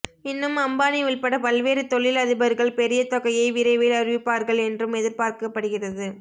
இன்னும் அம்பானி உள்பட பல்வேறு தொழில் அதிபர்கள் பெரிய தொகையை விரைவில் அறிவிப்பார்கள் என்றும் எதிர்பார்க்கப்படுகிறது